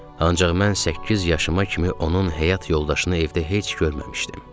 Ancaq mən səkkiz yaşıma kimi onun həyat yoldaşını evdə heç görməmişdim.